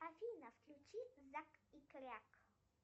афина включи зак и кряк